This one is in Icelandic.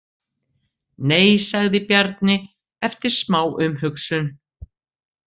Nei, sagði Bjarni eftir smá umhugsun.